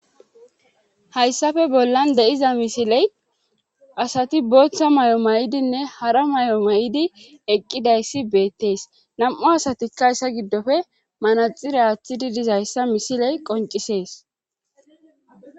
hayssafe bollan de7iza misiley asati booththa may7o may7idinne hara may7o may7di eqqidayssi beettees nam7u asatikka yssa giddofe manaxire aaththidi dizayssa misiley qoncisees